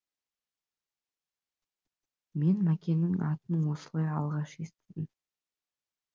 мен мәкеңнің атын осылай алғаш естідім